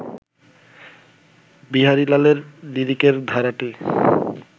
বিহারীলালের লিরিকের ধারাটি